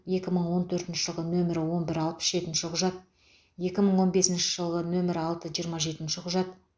екі мың он төртінші жылғы нөмірі он бір алпыс жетінші құжат екі мың он бесінші жылғы нөмірі алты жиырма жетінші құжат